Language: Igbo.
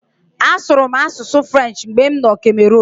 Asụrụ m asụsụ French mgbe m nọ Cameroon.